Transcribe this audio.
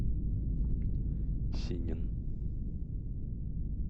синин